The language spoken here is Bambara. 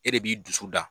E de b'i dusu da